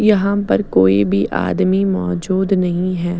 यहाँ पर कोई भी आदमी मौजूद नहीं है।